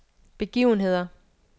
begivenheder